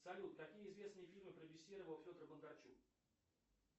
салют какие известные фильмы продюсировал федор бондарчук